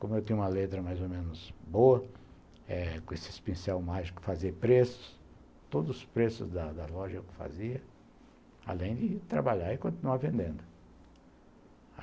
Como eu tinha uma letra mais ou menos boa, eh com esses pincéis mágicos eu fazia preços, todos os preços da loja eu fazia, além de trabalhar e continuar vendendo.